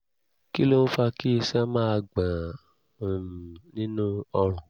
kí ló ń fa kí iṣan máa gbọ̀n-ún nínú ọrùn?